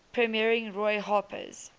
premiering roy harper's